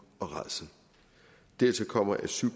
og rædsel dertil kommer at syv